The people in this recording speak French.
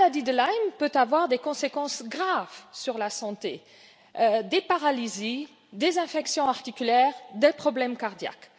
La maladie de Lyme peut avoir des conséquences graves sur la santé des paralysies, des infections articulaires ou des problèmes cardiaques.